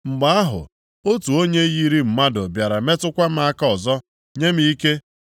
Mgbe ahụ, otu onye yiri mmadụ bịara metụkwa m aka ọzọ nye m ike.